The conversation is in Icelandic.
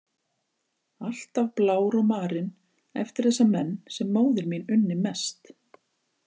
Alltaf blár og marinn eftir þessa menn sem móðir mín unni mest.